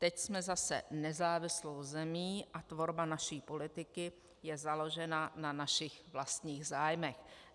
Teď jsme zase nezávislou zemí a tvorba naší politiky je založena na našich vlastních zájmech."